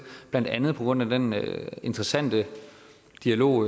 blandt andet på grund af den interessante dialog